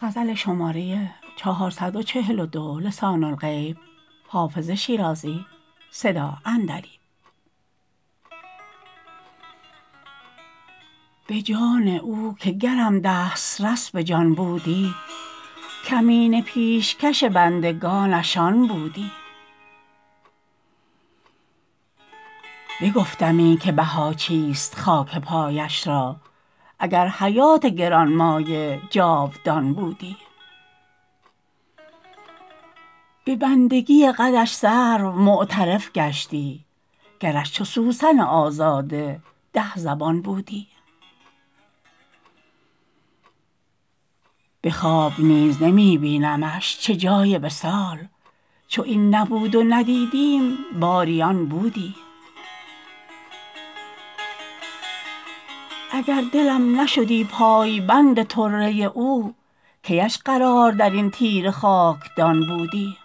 به جان او که گرم دسترس به جان بودی کمینه پیشکش بندگانش آن بودی بگفتمی که بها چیست خاک پایش را اگر حیات گران مایه جاودان بودی به بندگی قدش سرو معترف گشتی گرش چو سوسن آزاده ده زبان بودی به خواب نیز نمی بینمش چه جای وصال چو این نبود و ندیدیم باری آن بودی اگر دلم نشدی پایبند طره او کی اش قرار در این تیره خاکدان بودی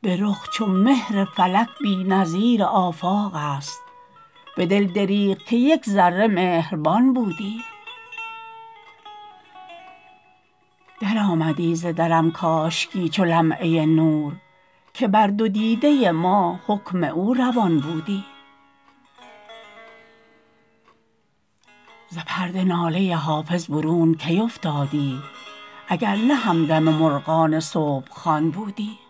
به رخ چو مهر فلک بی نظیر آفاق است به دل دریغ که یک ذره مهربان بودی درآمدی ز درم کاشکی چو لمعه نور که بر دو دیده ما حکم او روان بودی ز پرده ناله حافظ برون کی افتادی اگر نه همدم مرغان صبح خوان بودی